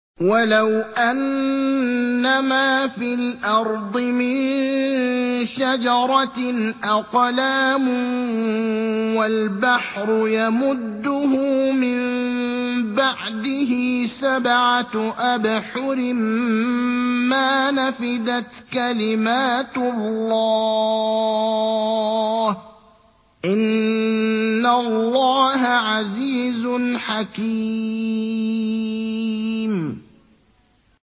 وَلَوْ أَنَّمَا فِي الْأَرْضِ مِن شَجَرَةٍ أَقْلَامٌ وَالْبَحْرُ يَمُدُّهُ مِن بَعْدِهِ سَبْعَةُ أَبْحُرٍ مَّا نَفِدَتْ كَلِمَاتُ اللَّهِ ۗ إِنَّ اللَّهَ عَزِيزٌ حَكِيمٌ